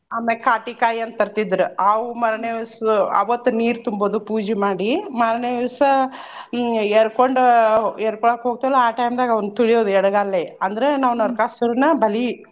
ಆಮ್ಯಾಗ್ ಕಾಟಿಕಾಯ್ ಅಂತ್ ತರ್ತಿದ್ರ ಆವು ಮಾರ್ನೆ ದಿವ್ಸ ಅವತ್ತ ನೀರ್ ತುಂಬೊದು ಪೂಜಿ ಮಾಡಿ ಮಾರ್ನೆ ದಿವ್ಸ ಹ್ಮ್ ಯರ್ಕೊಂಡ ಆಹ್ ಯರ್ಕೊಳಾಕ್ ಹೋಗ್ತೇವ್ಲಾ ಆ time ದಾಗ ಅವ್ನ ತುಳ್ಯೋದ್ ಎಡಗಾಲ್ಲೆ ಅಂದ್ರ ನಾವ್ ನರಕಾಸುರ್ನ್ನ ಬಲಿ.